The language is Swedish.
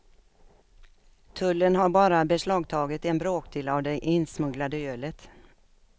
Tullen har bara beslagtagit en bråkdel av det insmugglade ölet.